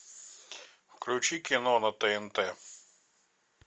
включи кино на тнт